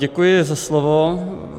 Děkuji za slovo.